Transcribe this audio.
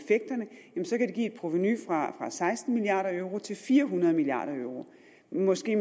et provenu fra seksten milliard euro til fire hundrede milliard euro og måske